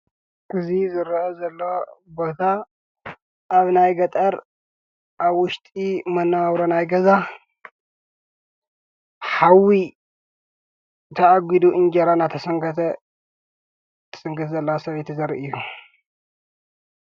እዙ ዘረአ ዘለዋ ቦታ ኣብ ናይ ገጠር ኣብ ውሽጢ መናዋዉሮ ናይ ገዛ ኃዊ ተኣጕዱ እንጀራ እናተሰንከተ ዘላ ሰብ ዘርእይ እዩ፡፡